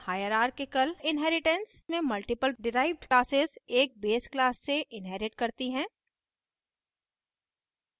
hierarchical inheritance में multiple derived classes एक base classes से inherit करती हैं